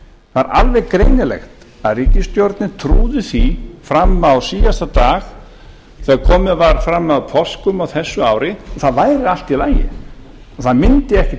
það er alveg greinilegt að ríkisstjórnin trúði því fram á síðasta dag þegar komið var fram að páskum á þessu ári að það væri allt í lagi og það mundi ekkert